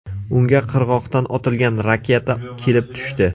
Unga qirg‘oqdan otilgan raketa kelib tushdi.